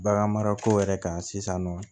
Baganmarako yɛrɛ kan sisan nɔ